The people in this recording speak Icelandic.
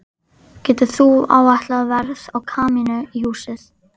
Getur þú áætlað verð á kamínu í húsið?